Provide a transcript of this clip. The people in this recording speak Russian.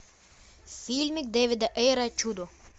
фильмик дэвида эйра чудо